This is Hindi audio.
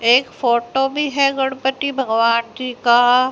एक फोटो भी है गणपति भगवान जी का।